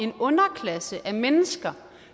en underklasse af mennesker